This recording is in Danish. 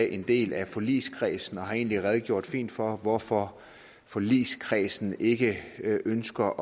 en del af forligskredsen og har egentlig redegjort fint for hvorfor forligskredsen ikke ønsker